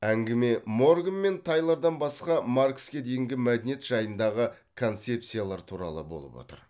әңгіме морган мен тайлордан басқа маркске дейінгі мәдениет жайындағы концепциялар туралы болып отыр